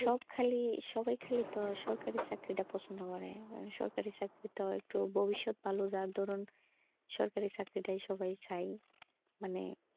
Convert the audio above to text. সব খালি সবাই খালি সরকারি চাকরিটা পছন্ধ করে সরকারি চাকরিটা একটু ভবিষৎ ভালো যা ধরুন সরকারি চাকরিটাই সবাই চাই মানে,